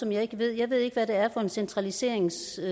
jeg ikke ved jeg ved ikke hvad det er for en centraliseringsting